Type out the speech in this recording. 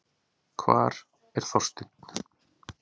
Hvar er Þorsteinn?